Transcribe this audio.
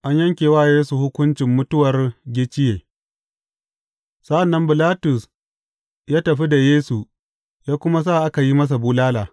An yanke wa Yesu hukuncin mutuwar gicciye Sa’an nan Bilatus ya tafi da Yesu ya kuma sa aka yi masa bulala.